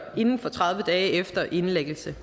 inden for tredive dage efter indlæggelse